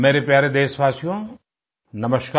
मेरे प्यारे देशवासियो नमस्कार